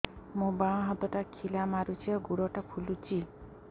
ମୋ ବାଆଁ ହାତଟା ଖିଲା ମାରୁଚି ଆଉ ଗୁଡ଼ ଟା ଫୁଲୁଚି